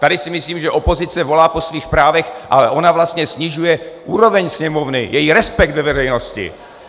Tady si myslím, že opozice volá po svých právech, ale ona vlastně snižuje úroveň Sněmovny, její respekt ve veřejnosti.